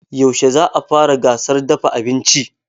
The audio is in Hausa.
Yaushe za a fara gasar dafa abinci?